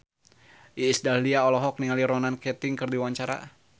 Iis Dahlia olohok ningali Ronan Keating keur diwawancara